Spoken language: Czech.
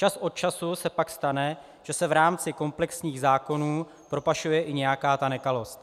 Čas od času se pak stane, že se v rámci komplexních zákonů propašuje i nějaká ta nekalost.